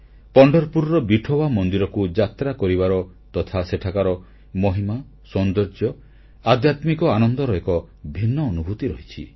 ପଣ୍ଢରପୁରର ବିଠୋୱା ମନ୍ଦିରକୁ ଯାତ୍ରା କରିବାର ତଥା ସେଠାକାର ମହିମା ସୌନ୍ଦର୍ଯ୍ୟ ଆଧ୍ୟାତ୍ମିକ ଆନନ୍ଦର ଏକ ଭିନ୍ନ ଅନୁଭୂତି ରହିଛି